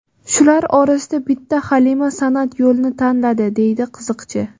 Shular orasida bitta Halima san’at yo‘lini tanladi”, deydi qiziqchi.